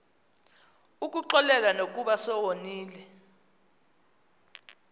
ukuxolela nokuba sewoniwe